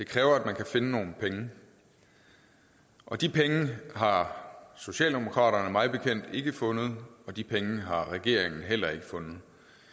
kræver at man kan finde nogle penge og de penge har socialdemokratiet mig bekendt ikke fundet og de penge har regeringen heller ikke fundet